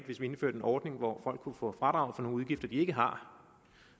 hvis vi indførte en ordning hvor folk kunne få fradrag for nogle udgifter de ikke har